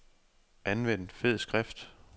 Anvend fed skrift.